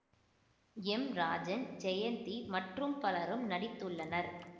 M Rajan Jayanthi மற்றும் பலரும் நடித்துள்ளனர்